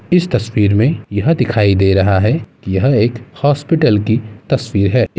इस तस्वीर में यह दिखाई दे रहा है यह एक हॉस्पिटल की तस्वीर है।